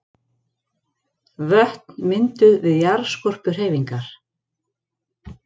Vötn mynduð við jarðskorpuhreyfingar.